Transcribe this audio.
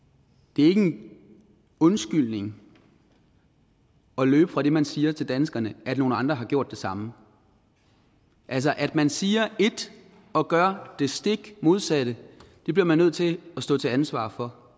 det er ikke en undskyldning at løbe fra det man siger til danskerne at nogle andre har gjort det samme altså at man siger et og gør det stik modsatte bliver man nødt til at stå til ansvar for